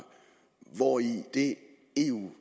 hvori det eu